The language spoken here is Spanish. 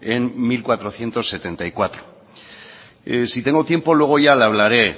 en mil cuatrocientos setenta y cuatro si tengo tiempo luego ya le hablaré